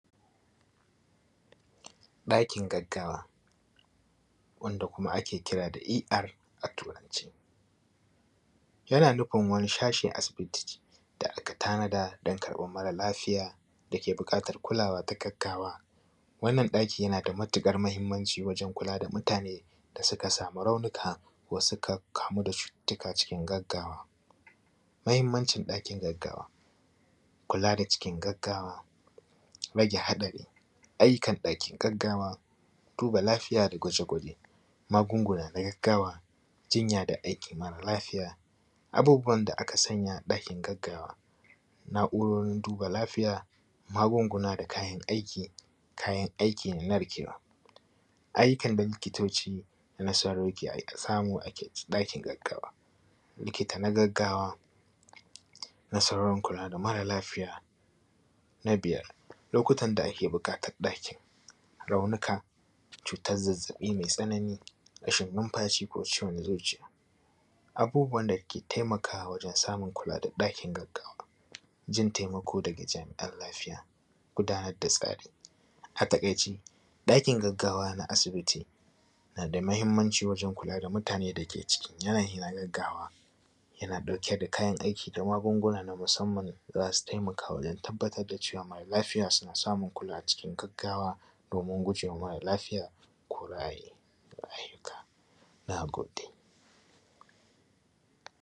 Ɗakin gaggawa wanda kuma ake kira da ER a turance. Yana nufin wani sashi a asiti da aka tanada don kaɓar mara lafiya da ke buƙatar kulawa na gaggawa. Wannan ɗaki yana da matuƙar muhimmanci wajen kula da mutane da suka samu raunuka, wusa suka kamu da cututtuka cikin gaggawa. Muhimmancin ɗakin gaggawa, kula da cikin gagggawa, rage haɗari. Ayyukan ɗakin gaggawa, duba lafiya da gwaje-gwaje, magunguna na gaggawa, jinya da aiki mara lafiya. Abubuwan da aka sa a ɗakin gaggawa, na’urorin duba lafiya, magunguna da kayan aiki, kayan aiki narkewa. Aiki na likitoci na nasarori ke ai kai ta samu, a ɗakin gaggawa, likta na gagggawa, nasarorin kula da mara lafiya. Na biyar lokutan da ake buƙatan ɗakin, raunuka cutar zazzaɓi mai tsanani, rashin numfashi ko ciwon zuciya. Abubuwan da taimakawa wajen samu kula da ɗakin gaggawa, jin taimako daga jami’an lafiya, gudanar da tsari. A taƙaice ɗakin gaggawa na na asibiti na da muhimmanci wajen kula da mutane dake cikin yanai na gagggawa yana ɗauke da kayan aiki da magunguna na musamman da za su taimaka wajen tabbatar da cewa mara lafiya suna samun kula cikin gagggawa, domin gujewa mara lafiya ko ra’ayinka. na gode.